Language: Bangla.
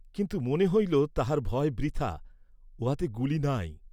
কিন্তু মনে হইল তাঁহার ভয় বৃথা, উহাতে গুলি নাই।